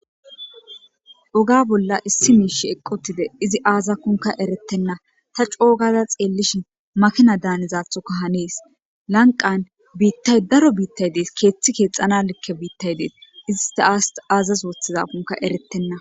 oga bolla issi miishi eqqotide izi aazakunka eretenna ta coogaza xeellishin makina daanizathoko hanees lanqan biittay daro biittay dees keeththi keexana likke biittay dees izi taas aazas wothizakunka eretenna